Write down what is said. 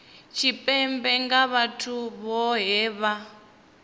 tshipembe nga vhathu vhohe vha